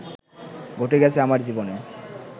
ঘটে গেছে আমার জীবনে